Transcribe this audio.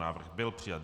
Návrh byl přijat.